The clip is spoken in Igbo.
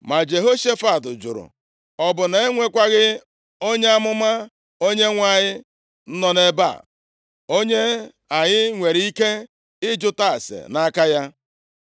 Ma Jehoshafat jụrụ, “Ọ bụ na e nwekwaghị onye amụma Onyenwe anyị nọ nʼebe a, onye anyị nwere ike ịjụta ase nʼaka ya?”